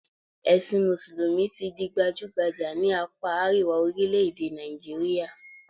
Ẹ̀sìn mùsùlùmí ti di gbajúgbajà ní àpá àríwá orílẹ̀-èdè Nàìjíríà